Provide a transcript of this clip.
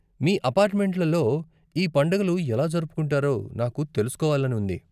మీ అపార్ట్ మెంట్లలో ఈ పండుగలు ఎలా జరుపుకుంటారో నాకు తెలుసుకోవాలని ఉంది.